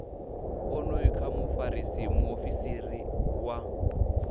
onoyu kha mufarisa muofisiri wa